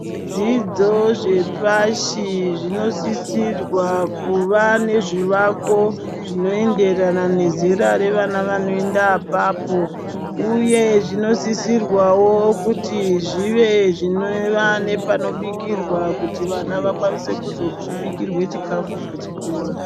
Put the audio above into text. Zvidzidzo zvepashi zvinosisirwa kuva nezvivako zvinoendarana nezeta vevana vanoenda apapo uye zvinosisirwawo kuti zvive zvinova nepanobikirwa kuti vana vakwanise kuzobikirwa chikafu pachikora.